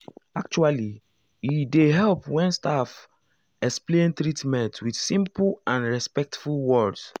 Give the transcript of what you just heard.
actually e dey help when staff ah explain treatment with simple and respectful words.